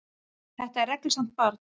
Þetta er reglusamt barn.